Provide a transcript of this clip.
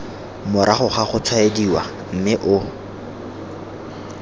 morago ga gotshwaediwa mme o